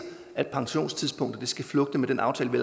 at pensionstidspunktet skal flugte med den aftale vi